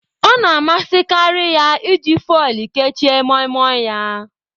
Ọ na-amasịkarị ya iji foil kechie Moimoi ya.